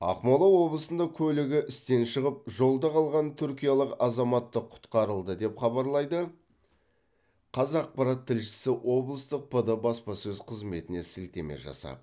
ақмола облысында көлігі істен шығып жолда қалған түркиялық азаматты құтқарылды деп хабарлайды қазақпарат тілшісі облыстық пд баспасөз қызметіне сілтеме жасап